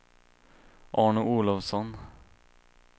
Arne Olofsson